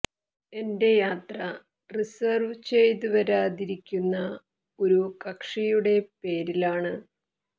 എന്റെ യാത്ര റിസര്വ് ചെയ്ത് വരാതിരിക്കുന്ന ഒരു കക്ഷിയുടെ പേരിലാണ്